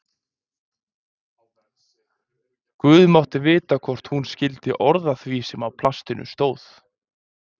Guð mátti vita hvort hún skildi orð af því sem á plastinu stóð.